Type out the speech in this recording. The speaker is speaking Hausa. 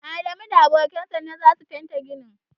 Adamu da abokan sa ne za su fente ginin.